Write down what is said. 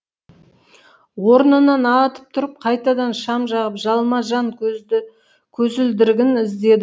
орнынан атып тұрып қайтадан шам жағып жалма жан көзілдірігін іздеді